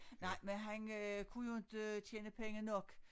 Nej men han øh kunne jo inte tjene penge nok